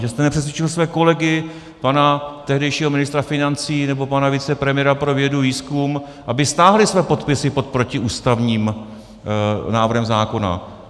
Že jste nepřesvědčil své kolegy, pana tehdejšího ministra financí nebo pana vicepremiéra pro vědu, výzkum, aby stáhli své podpisy pod protiústavním návrhem zákona.